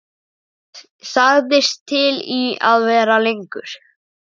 Það var eins og henni kæmi þetta bara ekkert við.